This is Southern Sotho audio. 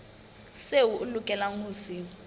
seo a lokelang ho se